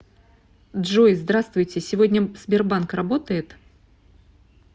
джой здравствуйте сегодня сбербанк работает